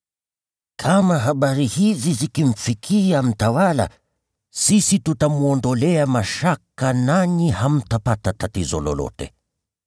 Kama habari hizi zikimfikia mtawala, sisi tutamwondolea mashaka nanyi hamtapata tatizo lolote.”